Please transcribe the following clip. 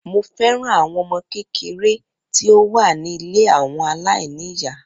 Mo fẹ́ràn àwọn ọmọ kékeré tí ó wà ní ilé àwọn aláìní ìyá.